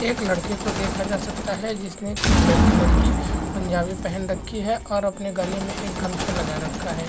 एक लड़के को देखा जा सकता है जिसने ब्लैक कलर की पंजाबी पहैन रखी है और आप ने गले में गमछा लगा रखा है।